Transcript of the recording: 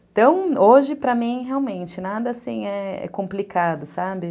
Então, hoje, para mim, realmente, nada assim é complicado, sabe?